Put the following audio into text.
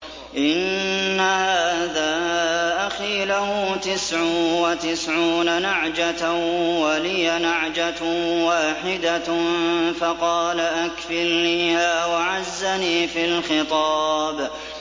إِنَّ هَٰذَا أَخِي لَهُ تِسْعٌ وَتِسْعُونَ نَعْجَةً وَلِيَ نَعْجَةٌ وَاحِدَةٌ فَقَالَ أَكْفِلْنِيهَا وَعَزَّنِي فِي الْخِطَابِ